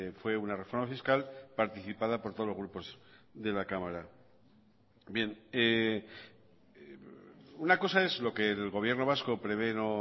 fue una reforma fiscal participada por todos los grupos de la cámara bien una cosa es lo que el gobierno vasco prevé no